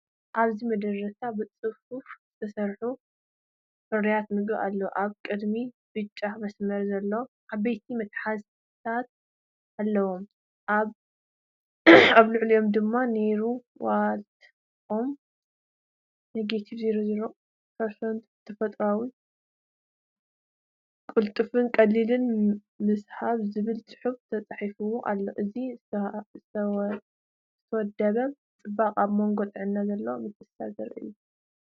ኣብዚ መደርደሪታት ብጽፉፍ ዝተሰርዑ ፍርያት ምግቢ ኣለዉ። ኣብ ቅድሚት ብጫ መስመር ዘለዎም ዓበይቲ መትሓዚታት ኣለዉ፣ ኣብ ልዕሊኦም ድማ“ኔራ ዋይት ኦትስ– 00% ተፈጥሮኣዊ–ቅልጡፍን ቀሊልን ምብሳ” ዝብል ጽሑፍ ተጻሒፉ ኣሎ። እዚ ዝተወደበ ጽባቐ ኣብ መንጎ ጥዕና ዘሎ ምትእስሳር ዘርኢ እዩ።